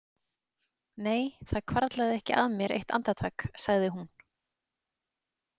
Nei, það hvarflaði ekki að mér eitt andartak, sagði hún.